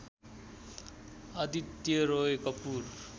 Aditya Roy Kapoor